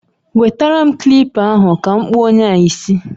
Nwetere m kilipa ahụ ka m kpụọ onye a isi